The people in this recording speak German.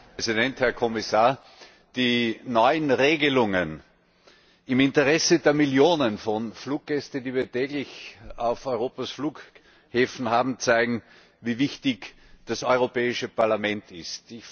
Herr Präsident, Herr Kommissar! Die neuen Regelungen im Interesse der Millionen von Fluggästen, die wir täglich auf Europas Flughäfen haben, zeigen, wie wichtig das Europäische Parlament ist.